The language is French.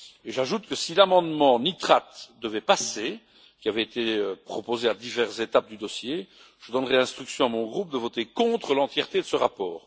J'ajoute que, si l'amendement nitrates devait passer ce qui avait été proposé à diverses étapes du dossier je donnerais instruction à mon groupe de voter contre l'entièreté de ce rapport.